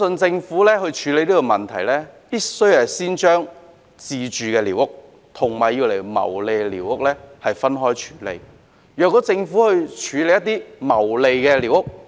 政府在處理這個問題時，必須先將自住寮屋和作牟利用途寮屋分開處理。